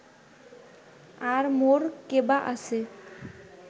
আর মোর কেবা আছে